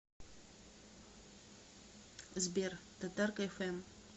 сбер татарка эф эм